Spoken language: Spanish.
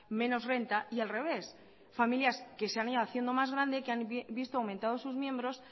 menos renta y al revés familias que se han ido haciendo más grandes que han visto aumentados sus miembros